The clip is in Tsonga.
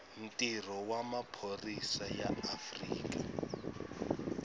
ntirho wa maphorisa ya afrika